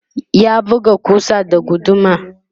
ya buga kusar da guduma